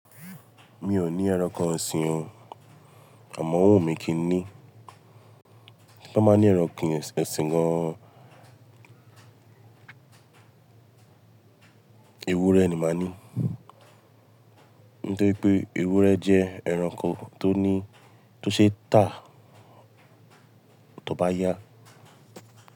Mi ò ní ẹranko oṣin o, àmọ́ ọwu mi kì ní. Bo bá ní ẹran kini oṣin gan ewúrẹ́ ni màá ní. Nítorí pé ewúrẹ́ jẹ́ ẹranko tó ní, tó ṣe tà tó bá yá.